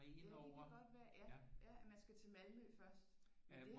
Ja det kan godt være ja ja at man skal til Malmø først